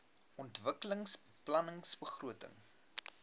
ontwikkelingsbeplanningbegrotings